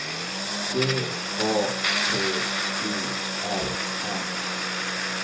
D A T O R N